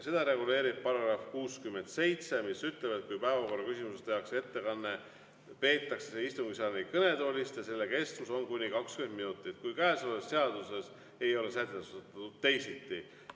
Seda reguleerib § 67, mis ütleb, et kui päevakorraküsimuses tehakse ettekanne, peetakse see istungisaali kõnetoolist ning selle kestus on kuni 20 minutit, kui käesolevas seaduses ei ole sätestatud teisiti.